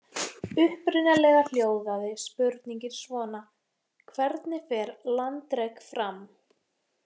Upprunalega hljóðaði spurningin svona: Hvernig fer landrek fram?